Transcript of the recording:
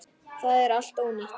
Það er allt ónýtt.